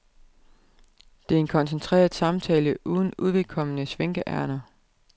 Det er en koncentreret samtale uden uvedkommende svinkeærinder.